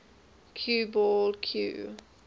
cue ball cue